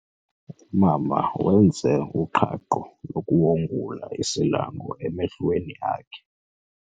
Umama wenze uqhaqho lokuwongula isilanga emehlweni akhe.